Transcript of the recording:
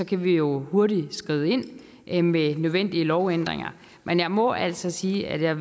kan vi jo hurtigt skride ind med nødvendige lovændringer men jeg må altså sige at jeg